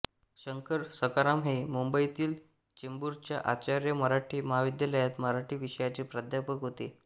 शंकर सखाराम हे मुंबईतील चेंबूरच्या आचार्य मराठे महाविद्यालयात मराठी विषयाचे प्राध्यापक होते